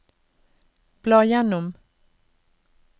bla gjennom